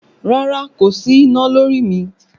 Rárá kò sí iná lórí mi